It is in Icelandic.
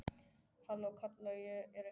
Halló, kalla ég, er einhver heima?